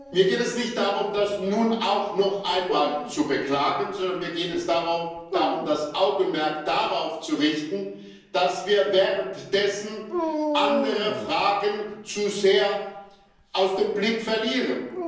Mir geht es nicht darum, das nun auch noch einmal zu beklagen, sondern mir geht es darum, das Augenmerk darauf zu richten, dass wir währenddessen andere Fragen zu sehr aus dem Blick verlieren.